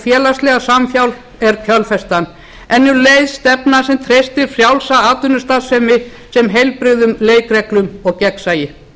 félagslega samhjálp er kjölfestan en um leið stefna sem treystir frjálsa atvinnustarfsemi sem heilbrigðum leikreglum og gegnsæi